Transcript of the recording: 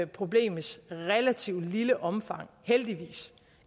problemets relativt lille omfang heldigvis